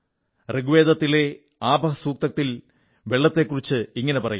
ഋഗ്വേദത്തിലെ ആപഃ സൂക്തത്തിൽ വെള്ളത്തെക്കുറിച്ച് ഇങ്ങനെ പറയുന്നു